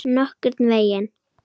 Nokkurn veginn.